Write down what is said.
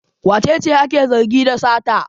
Wace ce ake zargi da sata?